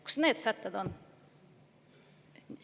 Kus need sätted on?